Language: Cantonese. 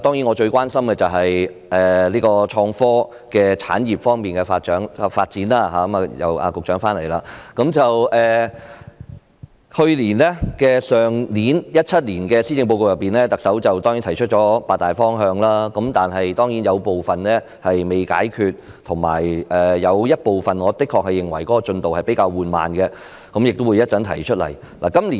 我最關心的當然是創科產業方面的發展——局長現在回來了——去年特首在2017年的施政報告中提出八大方向，當然有部分仍未實現，我也認為有部分的進度比較緩慢，稍後我會作出闡述。